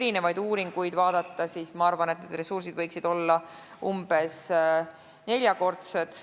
Kui uuringuid vaadata, siis ma arvan, et need ressursid võiksid olla umbes neljakordsed.